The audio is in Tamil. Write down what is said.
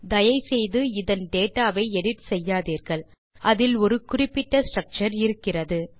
தயை செய்து இதன் டேட்டா வை எடிட் செய்யாதீர்கள் அதில் ஒரு குறிப்பிட்ட ஸ்ட்ரக்சர் இருக்கிறது